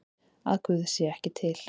Að Guð sé ekki til?